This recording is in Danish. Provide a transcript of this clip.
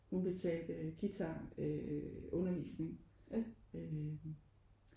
Hun betalte guitar øh undervisningen øh